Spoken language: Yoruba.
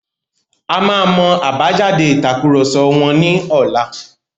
A máa mọ àbájáde ìtàkurọ̀sọ wọn ní ọlá.